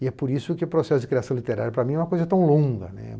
E é por isso que o processo de criação literária, para mim, é uma coisa tão longa.